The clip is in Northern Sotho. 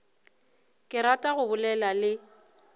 ke rata go bolela le